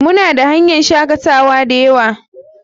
Muna da hanyan shakatawa dayawa.